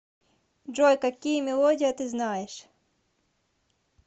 джой какие мелодия ты знаешь